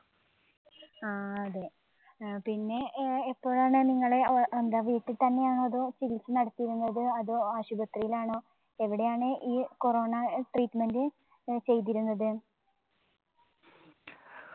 ആ അതെ. അഹ് പിന്നെ ഏർ എപ്പോഴാണ് നിങ്ങളെ ഏർ എന്താ വീട്ടിത്തന്നെയാണോ അതോ ചികിത്സ നടത്തിയിരുന്നത്. അതോ ആശുപത്രിയിലാണോ എവിടെയാണ് ഈ corona treatment ചെയ്തിരുന്നത്?